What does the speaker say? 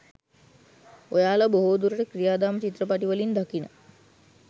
ඔයාලා බොහෝ දුරට ක්‍රියාදාම චිත්‍රපටිවලින් දකින